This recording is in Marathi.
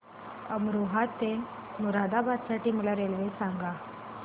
अमरोहा ते मुरादाबाद साठी मला रेल्वे सांगा